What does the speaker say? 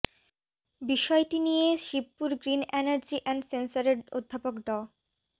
বিষয়টি নিয়ে Shibpur green energy and সেন্সরের অধ্যাপক ড